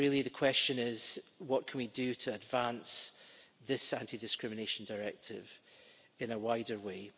And really the question is what can we do to advance this anti discrimination directive in a wider way?